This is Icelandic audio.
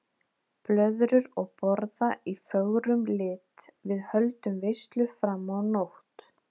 Blöðrur og borða í fögrum lit, við höldum veislu fram á nótt.